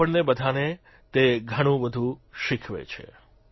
આપણને બધાને તે ઘણું બધું શીખવે છે